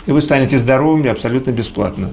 и вы станете здоровыми абсолютно бесплатно